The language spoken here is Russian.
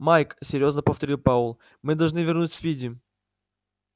майк серьёзно повторил пауэлл мы должны вернуть спиди